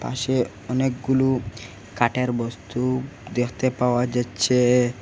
পাশে অনেকগুলো কাঠের বস্তু দেখতে পাওয়া যাচ্ছে।